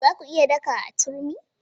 Za ku iya daka a turmi?